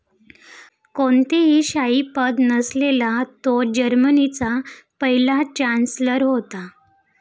कोणतेही शाही पद नसलेला तो जर्मनीचा पहिला चांन्सलर होता.